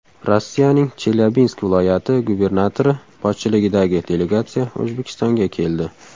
Rossiyaning Chelyabinsk viloyati gubernatori boshchiligidagi delegatsiya O‘zbekistonga keldi.